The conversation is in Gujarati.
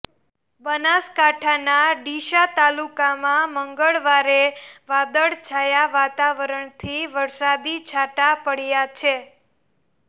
બનાસકાંઠાના ડીસા તાલુકામાં મંગળવારે વાદળછાયા વાતાવરણથી વરસાદી છાંટા પડ્યા છે